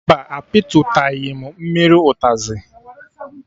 Mba, a pịtụtaghị m mmiri ụtazị